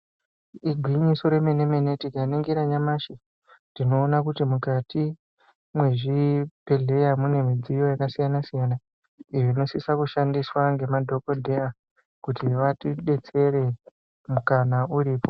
Igwinyiso rememene tikaningira nyamashi tinoone kuti mukati mwezvibhedhlera mune midziyo yakasiyana siyana iyo inosisa kushandiswa ngemadhokodheya kuti vatidetsere mukana uripo.